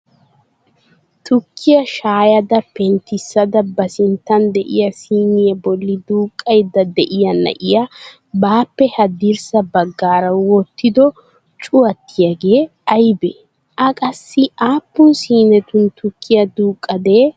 Tukkiya shayyada penttissada ba sinttan de'iyaa siiniya bolli duuqqaydda de'iyaa na'iyaa baappe haddirssa baggaara wottido cuwattiyaagee aybbe? A qassi aappun sinetun tukkiya duuqadee?